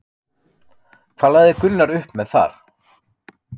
Hvað lagði Gunnar upp með þar?